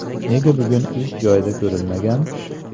Nega bugun ish joyida ko‘rinmagan?